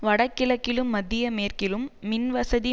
வடகிழக்கிலும் மத்திய மேற்கிலும் மின் வசதி